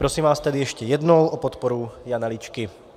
Prosím vás tedy ještě jednou o podporu Jana Ličky.